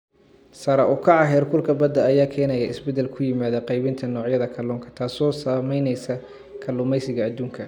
Sare u kaca heerkulka badda ayaa keenaya isbeddel ku yimaada qaybinta noocyada kalluunka, taas oo saameynaysa kalluumeysiga adduunka.